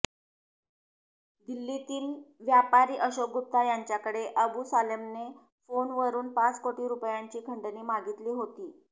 दिल्लीतील व्यापारी अशोक गुप्ता यांच्याकडे अबू सालेमने फोनवरून पाच कोटी रूपयांची खंडणी मागितली होती